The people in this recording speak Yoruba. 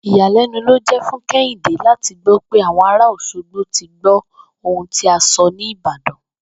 Ìyàlé̩nu ló jé̩ fún Ké̩hìndé láti gbó̩ pé àwo̩n ara Òs̩ogbo ti gbó̩ ohun tí a so̩ ní Ìbàdàn!